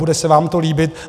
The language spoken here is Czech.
Bude se vám to líbit.